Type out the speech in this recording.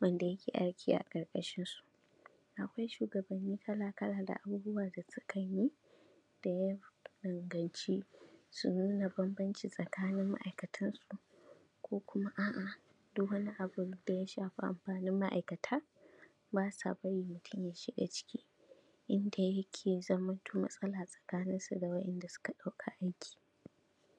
wanda yake aiki a ƙarƙashinsu, akwai shugabannin talakawan da abubuwan da suka n yi da yawa, da ya danganci su nuna bambanci tsakanin ma’aikatansu, ko kuma a’a duk wani abi n da ya shafi amfanin ma’aikata ba sa bari mutum ya shiga ciki, inda yake zamanto matsala a tsakaninsu da waɗanda suka ɗauka aiki,